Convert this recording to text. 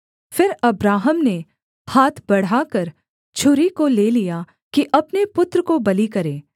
फिर अब्राहम ने हाथ बढ़ाकर छुरी को ले लिया कि अपने पुत्र को बलि करे